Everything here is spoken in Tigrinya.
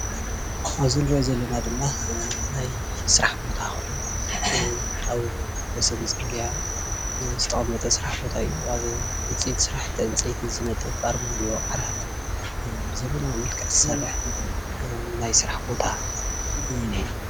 እዚ እንሪኦ ዘለና ድማ ናይ ስራሕ ቦታ ኮይኑ ኣብ ወሰን ፅርግያ ዝተቀመጠ ስራሕ ቦታ እዩ፡፡ ኣብ ውፅኢት ስራሕቲ ዕንፀይቲ ዝነጥፍ ኣርማድዮ ዓራት ብዘበናዊ መልክዕ ዝሰርሕ ናይ ስራሕ ቦታ እዩ እንሄ፡፡